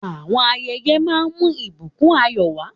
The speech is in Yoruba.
Àwọn ayẹyẹ máa ń mú ìbùkún ayọ̀ wá.